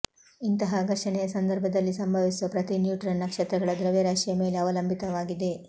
ಇಂತಹ ಘರ್ಷಣೆಯ ಸಂದರ್ಭದಲ್ಲಿ ಸಂಭವಿಸುವ ಪ್ರತಿ ನ್ಯೂಟ್ರಾನ್ ನಕ್ಷತ್ರಗಳ ದ್ರವ್ಯರಾಶಿಯ ಮೇಲೆ ಅವಲಂಬಿತವಾಗಿದೆ